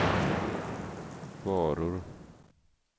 varor